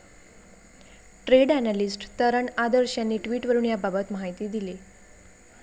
Trade analyst Taran Adarsh यांनी ट्विटवरुन याबाबत माहिती दिली.